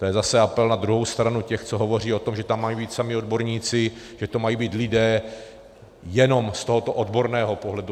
To je zase apel na druhou stranu těch, co hovoří o tom, že tam mají být samí odborníci, že to mají být lidé jenom z tohoto odborného pohledu.